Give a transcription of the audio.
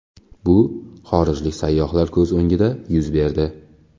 Bu xorijlik sayyohlar ko‘z o‘ngida yuz berdi.